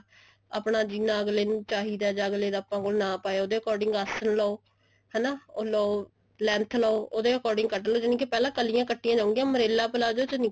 ਆਪਣਾ ਜਿੰਨਾ ਅਗਲੇ ਨੂੰ ਚਾਹੀਦਾ ਜਾ ਆਪਣੇ ਕੋਲ ਅਗਲੇ ਦਾ ਜਿੰਨਾ ਨਾਪ ਆਇਆ ਉਹਦੇ according ਆਸਨ ਲੋ ਹਨਾ ਉਹ ਲੋ length ਲੋ ਉਹਦੇ according ਕੱਟਲੋ ਜਾਨਿ ਕਿ ਪਹਿਲਾਂ ਕਲੀਆਂ ਕੱਟੀਆਂ ਜਾਣਗੀਆਂ umbrella palazzo ਚ ਨੀ ਕਲੀਆਂ